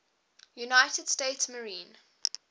united states marine